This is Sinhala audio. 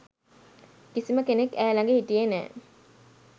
කිසිම කෙනෙක් ඈ ළඟ හිටියේ නෑ